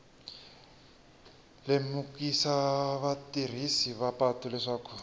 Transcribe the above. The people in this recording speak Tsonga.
lemukisa vatirhisi va patu leswaku